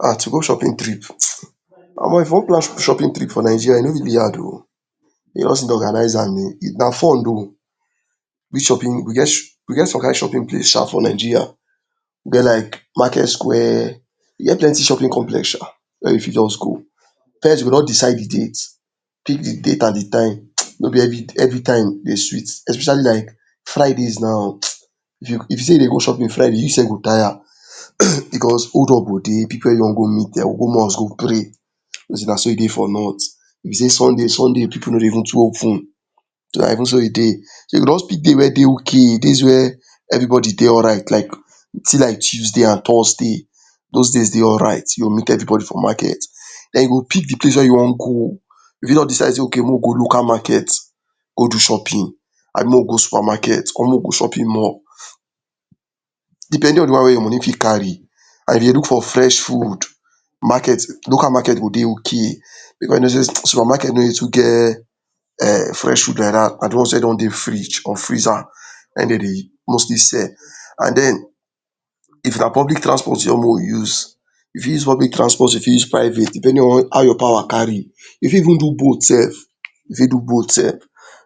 um To go shopping trip, [hissess] Omo if u wan plan shopping trip for Nigeria,e no fit be hard o, you just organize am na fun oh, we get some kind shopping place sha for Nigeria, we get like market square, we get plenty shopping complex sha, wey u fit just go, first you go just decide de date, pick de date and de time, no b everytime dey sweet especially like Fridays now if u sey u dey go shopping Friday u sef go tire, because hold up go dey, pipu wey wan go meet dia woman go pray, you no dey naso e dey for north, u no dey Sundaypipu no dey even too open, every thing wey e dey, so u go just pick date wey everybody dey alright like u see like Tuesday and Thursday, those days dey alright you go meet everybody for market, dem u go pick de place wey u wan go, u fit just decide sey okay make we go local market go do shopping Abi make we go supermarket come make we go shopping mall, depending on de one wey your money fit carry and you dey look for fresh food, market local market go dey, base on sey supermarket no dey too get fresh food like dat, na something wey don dey fridge or freezer, na hin dem dey mostly sell, and den of na public transport, u wan make we use, u fit use public transport u fit use private, depending on how your power carry, u for even so bolt sef, u fit do bolt sef,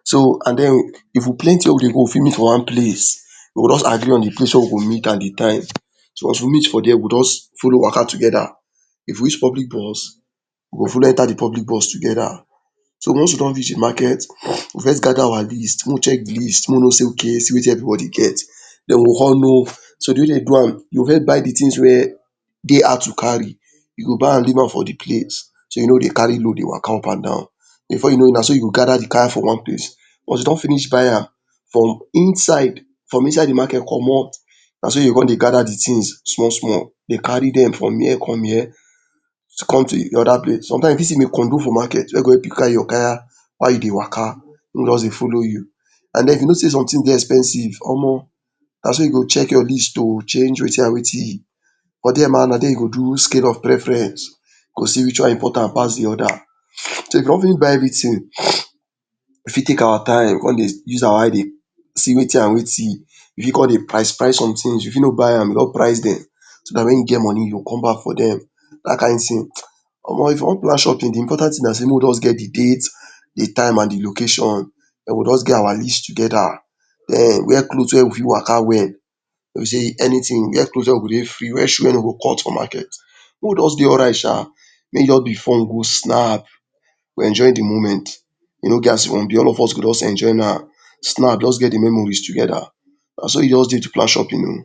so and den if we plenty wey dey go we fit meet for one place, we go jus agree on de place wey we go meet and de time, so if we meet for there we go jus follow Waka together, if we reach public bus we go follow enter de public bus together, so once we don reach de market we go first gather our list, make we check de list make we know sey ok see Wetin everybody get, den we go con no, de wey dem do am u go first buy de things wey dey hard to carry, u go buy an leave am for de place, so u no go dey carry load dey Waka up and down, before you know naso u go gather de Kaya for one place, once you don finish buy am, from inside de market, u go commot, naso u go cin dey gather de things small small dey carry dem from here come here to come de oda place, sometimes u for see for inside de market wey go help u carry your Kaya while u dey Waka, make hin just dey follow u, u know sey somethings dey expensive Omo, naso you go check your list oh check Wetin and Wetin, for there na there you go do scale of preference, go see which one important pass de oda, so if we don finish buy everything we fit take our time, we cin dey use our eye dey see Wetin and Wetin, u fit con dey price price somethings u fit no buy am, I go jus price dem, so dat wen you get money u go come back for dem, na dat kind thing Omo if u wan go dat kind shopping de important thing na make we jus get de date de time and de location we go jus get our list together, wear cloth wey we fit Waka wel, wey b sey anything, wear cloth wey we dey free wey shoe no go cut for market, make we just dey alright sha, make u jus before u go snap, enjoy de moment all of us go jus enjoy am, snap jus get de memories together, naso e just dey to plan shopping oh.